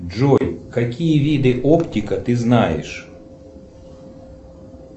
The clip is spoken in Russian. джой какие виды оптика ты знаешь